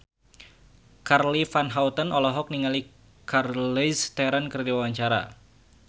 Charly Van Houten olohok ningali Charlize Theron keur diwawancara